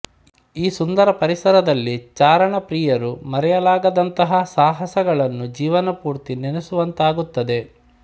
ಈ ಸುಂದರ ಪರಿಸರದಲ್ಲಿ ಚಾರಣಪ್ರಿಯರು ಮರೆಯಲಾಗದಂಥಹ ಸಾಹಸಗಳನ್ನು ಜೀವನಪೂರ್ತಿ ನೆನೆಸುವಂತಾಗುತ್ತದೆ